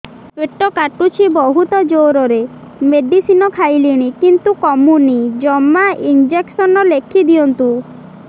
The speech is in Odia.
ପେଟ କାଟୁଛି ବହୁତ ଜୋରରେ ମେଡିସିନ ଖାଇଲିଣି କିନ୍ତୁ କମୁନି ଜମା ଇଂଜେକସନ ଲେଖିଦିଅନ୍ତୁ